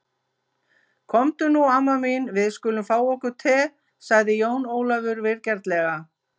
Komdu nú amma mín, við skulum fá okkur te, sagði Jón Ólafur vingjarnlega.